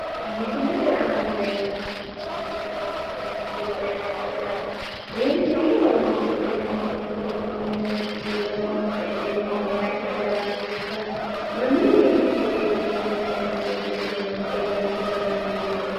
Misilete aana leellanni noorichi maati? Seensille yaa mayyate? Seensille horoonsidhe noo mancho konne seensille horoonsidhinohu mayi hajaraatikka? Mamiinni hidhiteeti konne seensille tini mancho horoonsira dandiituhu?